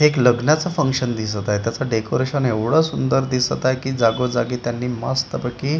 एक लग्नाचं फंक्शन दिसत आहे त्याचं डेकोरेशन एवढ सुंदर दिसत आहे की जागोजागी त्यांनी मस्तपैकी --